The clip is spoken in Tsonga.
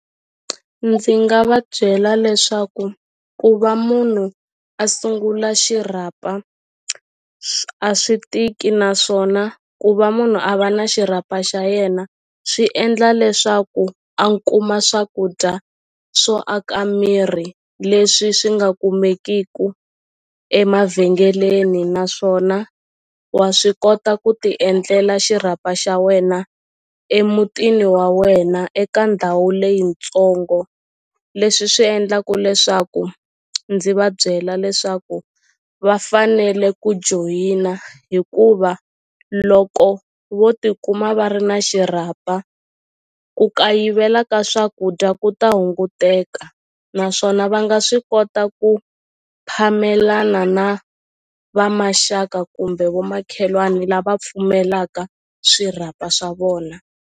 Ndzi nga va byela leswaku ku va munhu a sungula xirhapa a swi tiki naswona ku va munhu a va na xirhapa xa yena swi endla leswaku a kuma swakudya swo aka miri leswi swi nga kumekiku emavhengeleni naswona wa swi kota ku ti endlela xirhapa xa wena emutini wa wena eka ndhawu leyitsongo leswi swi endlaku leswaku ndzi va byela leswaku va fanele ku joyina hikuva loko vo tikuma va ri na xirhapa ku kayivela ka swakudya ku ta hunguteka naswona va nga swi kota ku phamelana na vamaxaka kumbe vomakhelwani lava pfumelaka swirhapa swa vona.